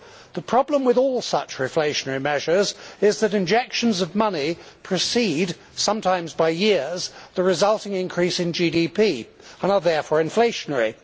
The problem with all such reflationary measures is that injections of money precede sometimes by years the resulting increase in GDP and are therefore inflationary.